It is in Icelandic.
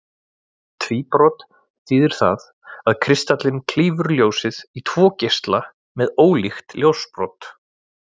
Tvíbrot þýðir það að kristallinn klýfur ljósið í tvo geisla með ólíkt ljósbrot.